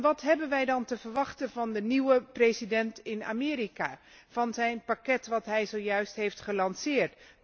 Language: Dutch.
Wat hebben wij dan te verwachten van de nieuwe president van Amerika en van het pakket dat hij zojuist heeft gelanceerd?